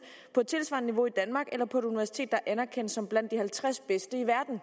på et tilsvarende niveau i danmark eller på et universitet der er anerkendt som værende blandt de halvtreds bedste i verden